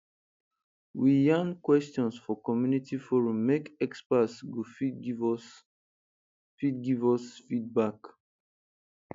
we yarn questions for community forum make experts go fit give us fit give us feedback